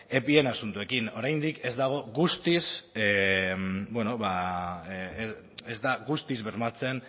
epien asuntoekin oraindik ez dago guztiz ez da guztiz bermatzen